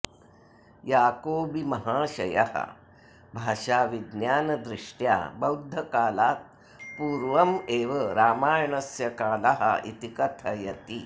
याकोबिमहाशयः भाषाविज्ञानदृष्ट्या बौद्धकालात् पूर्वमेव रामायणस्य कालः इति कथयति